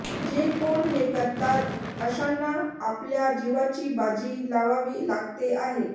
जे कोण हे करतात अशांना आपल्या जिवाची बाजी लावावी लागते आहे